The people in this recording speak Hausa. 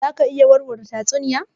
Za ka iya warware tatsuniya?